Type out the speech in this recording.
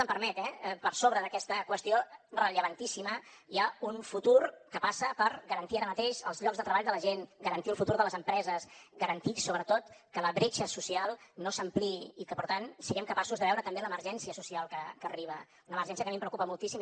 em permet eh per sobre d’aquesta qüestió rellevantíssima hi ha un futur que passa per garantir ara mateix els llocs de treball de la gent garantir el futur de les empreses garantir sobretot que la bretxa social no s’ampliï i que per tant siguem capaços de veure també l’emergència social que arriba una emergència que a mi em preocupa moltíssim